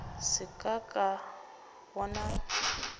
se ka ka ka bona